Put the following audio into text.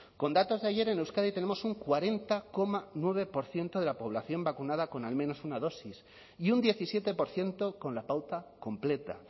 con datos de ayer en euskadi tenemos un cuarenta coma nueve por ciento de la población vacunada con al menos una dosis y un diecisiete por ciento con la pauta completa